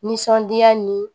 Nisɔndiya ni